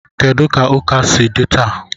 Kedu ka ụka si dị taa?